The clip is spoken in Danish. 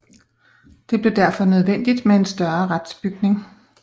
Det blev derfor nødvendigt med en større retsbygning